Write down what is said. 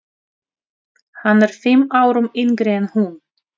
Hann er fimm árum yngri en hún.